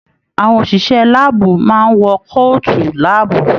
Àwọn òṣìṣẹ́ láàbù máa n wọ kootu láàbù.